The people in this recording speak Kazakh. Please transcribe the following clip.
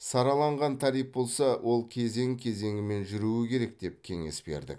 сараланған тариф болса ол кезең кезеңімен жүруі керек деп кеңес бердік